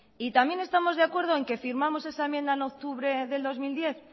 y también estamos de acuerdo en que firmamos esa enmienda en octubre del dos mil diez